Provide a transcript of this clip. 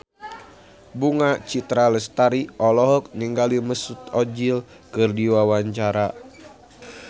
Bunga Citra Lestari olohok ningali Mesut Ozil keur diwawancara